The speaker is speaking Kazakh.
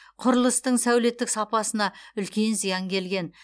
құрылыстың сәулеттік сапасына үлкен зиян келген